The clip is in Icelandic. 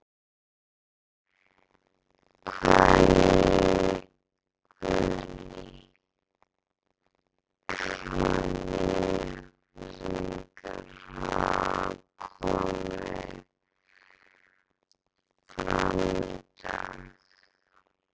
Guðný: Hvaða nýju upplýsingar hafa komið fram í dag?